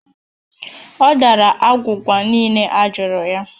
Ọ dara agwụgwa niile ọ jụrụ ya